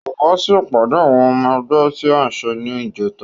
Kò wá sí ìpàdé àwọn ọmọ ẹgbẹ́ tí a ṣe ní ìjẹta